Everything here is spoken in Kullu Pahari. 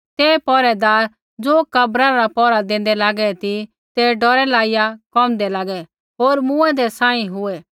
ते पैहरैदार ज़ो कब्रा रा पैहरा देंदै लागै ती ते डौरै लाइया कोमदै लागै होर मूँऐंदै सांही हुऐ